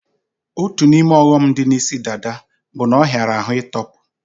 Otu n'ime ọghọm dị na isi dada bụ na ọ hiara ahụ ị tọpu